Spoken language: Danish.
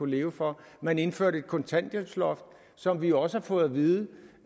leve for man indførte et kontanthjælpsloft som vi også har fået at vide